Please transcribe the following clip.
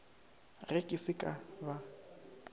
ge ke se ka ba